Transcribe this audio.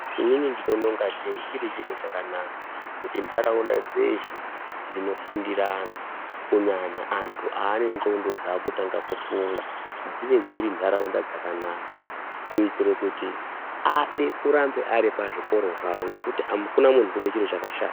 Inini ndinoona ngatei chiri chiro chakanaka kuti ndaraunda dzeshe dzinofundira vantu kunyanya antu ane ngonxo dzakutanga kufunga dzinge dziri ndaraunda dzakanaka kuitira kuti ange aripazvikora zvawo ngekuti akuna munhu anoda zvikora zvakashata.